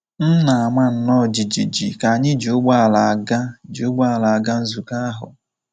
M na-ama nnọọ jijiji ka anyị ji ụgbọala aga ji ụgbọala aga nzukọ ahụ.